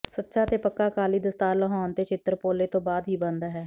ਸੱਚਾ ਤੇ ਪੱਕਾ ਅਕਾਲੀ ਦਸਤਾਰ ਲੁਹਾਉਣ ਤੇ ਛਿੱਤਰ ਪੋਲੇ ਤੋਂ ਬਾਅਦ ਹੀ ਬਣਦਾ ਹੈ